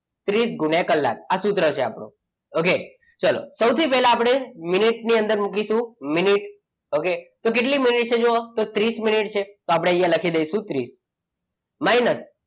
ત્રીસ ગુણ્યા કલાક આ સૂત્ર છે આપણું. okay ચાલો સૌથી પહેલા આપણે મિનિટની અંદર મુકીશું મિનિટ કે કેટલા મિનિટ છે જુઓ તો ત્રીસ મિનિટ છે આપણે લખી દઈશું ત્રીસ minus,